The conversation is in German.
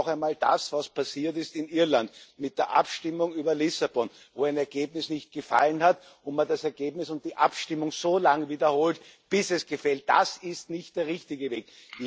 Dass nicht noch einmal das eintritt, was passiert ist in Irland mit der Abstimmung über Lissabon, wo ein Ergebnis nicht gefallen hat und man das Ergebnis und die Abstimmung so lange wiederholt, bis es gefällt das ist nicht der richtige Weg!